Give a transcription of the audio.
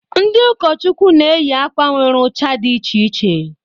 Ndị ụkọchukwu na-eyị akwa nwere ucha dị iche iche.